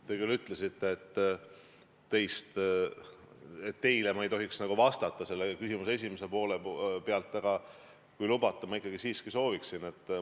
Te küll ütlesite, et ma ei tohiks teile vastata, puudutades selle küsimuse esimest poolt, aga kui lubate, ma ikkagi soovin seda teha.